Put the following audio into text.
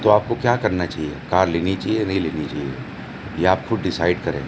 तो आपको क्या करना चाहिए? कार लेनी चाहिए या नहीं लेनी चाहिए? ये आप खुद डिसाइड करें।